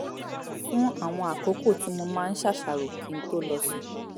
fún àwọn àkókò tí mo máa ń ṣàṣàrò kí n tó lọ sùn